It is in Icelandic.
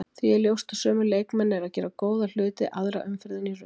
Því er ljóst að sömu leikmenn eru að gera góða hluti aðra umferðina í röð.